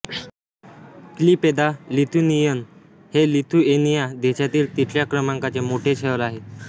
Klaipeda Lithuanian हे Lithuania देशातील तिसऱ्या क्रमांकाचे मोठे शहर आहे